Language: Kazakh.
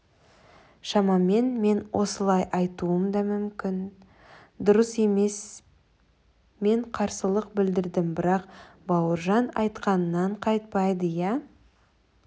шамамен мен осылай айтуым да мүмкін дұрыс емес мен қарсылық білдірдім бірақ бауыржан айтқанынан қайтпады ия